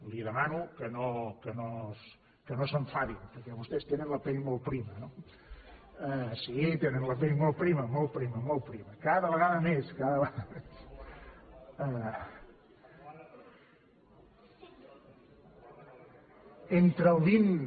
li demano que no s’enfadin perquè vostès tenen la pell molt prima no sí tenen la pell molt prima molt prima molt prima cada vegada més cada vegada més